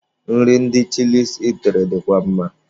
Nri ndị Chịlịs itiri dịkwa mma.